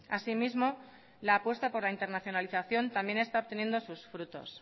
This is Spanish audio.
asimismo la apuesta por la internacionalización también está obteniendo sus frutos